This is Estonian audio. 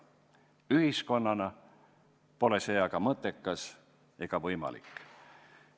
Ühiskonnana pole see aga mõttekas ega võimalik.